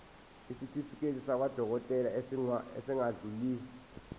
isitifiketi sakwadokodela esingadluli